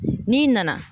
N'i nana